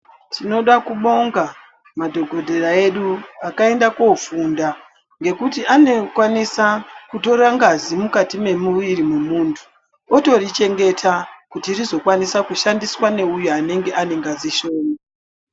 Tinoda kubonga madhokodheya edu akaenda kofunda kuti anokwanisa kutora ngazi mukati memuviri mwemuntu otorichengeta kuitira kuti rizoshandiswa neuyo anenge ane ngazi shoma.